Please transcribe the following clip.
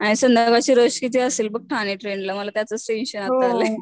ची रष किती असेल बघ ठाणे ट्रेन ला मला त्याचाच टेन्शन आता आलाय.